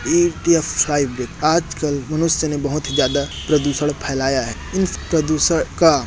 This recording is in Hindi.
थ्री डी या फाइब जी आजकल मनुष्य ने बहुत ही ज्यादा प्रदूषण फैलाया है इस प्रदूषण का।